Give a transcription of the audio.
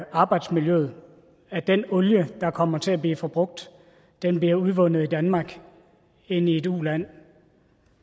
arbejdsmiljøet at den olie der kommer til at blive forbrugt bliver udvundet i danmark end i et uland